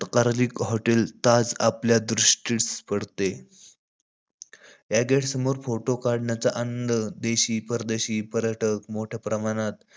तकारालीक hotel Taj आपल्या दृष्टीस पडते. या गेट समोर फोटा काढण्याचा आनंद, देशी परदेशी पर्यटक मोठया प्रमाणात,